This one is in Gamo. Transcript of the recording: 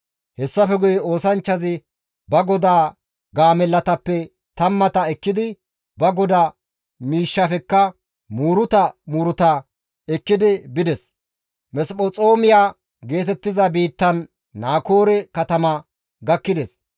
Hessafe guye oosanchchazi ba godaa gaamellatappe tammata ekkidi ba godaa miishshafekka muuruta muuruta ekkidi bides; Mesphexoomiya geetettiza biittan diza Naakoore katama gakkides.